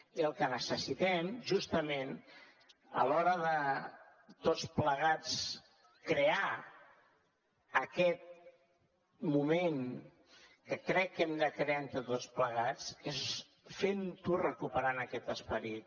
i el que necessitem justament a l’hora de tots plegats crear aquest moment que crec que hem de crear entre tots plegats és fer ho recuperant aquest esperit